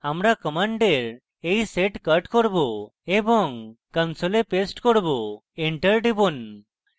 আমি commands এই set cut করব এবং console paste করব enter টিপুন